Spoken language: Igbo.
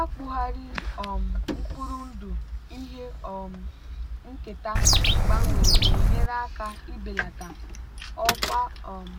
akpụgharị um mkpụrụ ndụ ihe um nketa gbanwere na-enyere aka ibelata ọkwa um